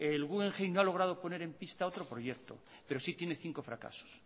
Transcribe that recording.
el guggenheim no ha logrado en poner en pista otro proyecto pero sí tiene cinco fracasos